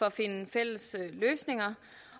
at finde fælles løsninger